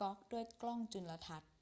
ก๊อกด้วยกล้องจุลทรรศน์